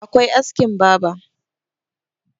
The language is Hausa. akwai askin baber